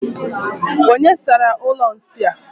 Onye sara ụlọ nsị a?